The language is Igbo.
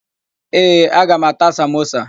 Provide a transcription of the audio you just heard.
Ee, aga m ata samosa.